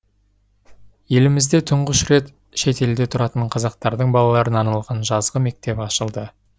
елімізде тұңғыш рет шет елде тұратын қазақтардың балаларына арналған жазғы мектеп ашылды